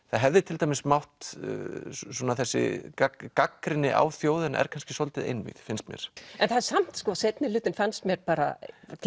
það hefði til dæmis mátt svona þessi gagnrýni gagnrýni á þjóðina er kannski svolítið einvíð finnst mér en það er samt seinni hlutinn fannst mér bara